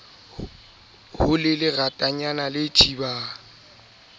ho le leratanyana le thibang